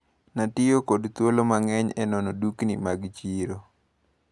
Natiyo kod thuolo mang`eny e nono dukni mag chiro.